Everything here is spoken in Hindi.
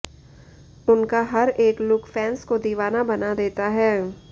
उनका हर एक लुक फैंस को दीवाना बना देता है